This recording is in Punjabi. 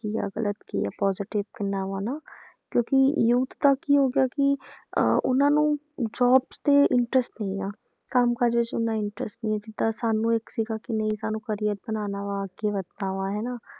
ਕੀ ਆ ਗ਼ਲਤ ਕੀ ਆ positive ਕਿੰਨਾ ਵਾ ਨਾ ਕਿਉਂਕਿ youth ਦਾ ਕੀ ਹੋ ਗਿਆ ਕਿ ਅਹ ਉਹਨਾਂ ਨੂੰ jobs ਤੇ interest ਨੀ ਆ, ਕੰਮ ਕਾਜ ਵਿੱਚ ਇੰਨਾ interest ਨੀ ਹੈ ਜਿੱਦਾਂ ਸਾਨੂੰ ਇੱਕ ਸੀਗਾ ਕਿ ਨਹੀਂ ਸਾਨੂੰ career ਬਣਾਉਣਾ ਵਾ ਅੱਗੇ ਵੱਧਣਾ ਵਾਂ ਹੈ ਨਾ